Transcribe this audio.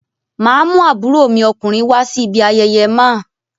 Màá mú àbúrò mi ọkùnrin wá sí ibi ayẹyẹ máa.